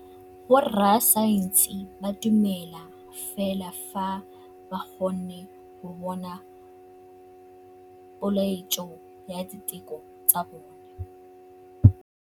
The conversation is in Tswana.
Borra saense ba dumela fela fa ba kgonne go bona poeletsô ya diteko tsa bone.